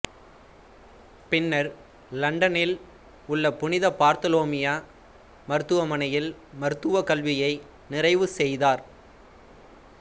பின்னர் இலண்டனில் உள்ள புனித பார்த்தோலோமியூ மருத்துவமனியில் மருத்துவக் கல்வியை நிறைவு செய்தார்